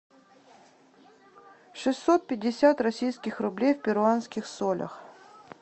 шестьсот пятьдесят российских рублей в перуанских солях